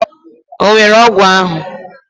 Onwere ogwu ahu?